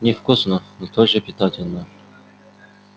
невкусно но тоже питательно